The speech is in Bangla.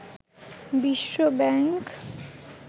বিশ্ব ব্যাংক